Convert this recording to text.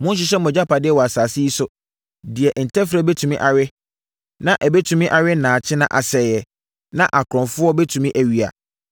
“Monnhyehyɛ mo agyapadeɛ wɔ asase yi so, deɛ ntɛferɛ bɛtumi awe, na ɛbɛtumi awe nnaakye na asɛeɛ, na akorɔmfoɔ bɛtumi awia.